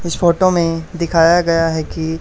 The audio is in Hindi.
इस फोटो में दिखाया गया है कि --